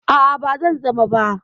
A'a, ba zan zama ba.